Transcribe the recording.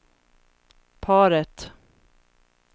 paret